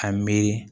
A miiri